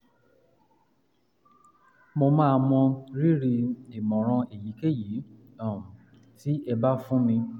mo máa mọ rírì ìmọ̀ràn èyíkéyìí um tí ẹ bá fún mi